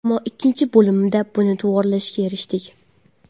Ammo ikkinchi bo‘limda buni to‘g‘rilashga erishdik.